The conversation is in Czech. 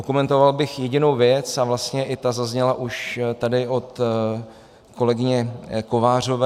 Okomentoval bych jedinou věc a vlastně i ta zazněla tady už od kolegyně Kovářové.